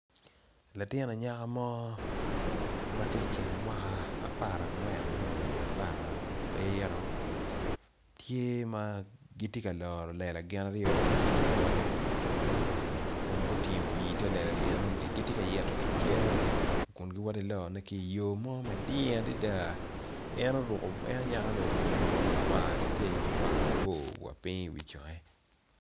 Latin anyaka mo matye i kine mwaka apar angwen me o i apara abiro tye magitye ka loro lela gin aryo gin ki lawote kun gutingo pi i ter lela enoni gitye ka ito ki cere kun giwoto iloro ne ki yo mading adada en oruko en anyaka ni oruko bongo makwar teteri makwar mabor wa ping i wi conge.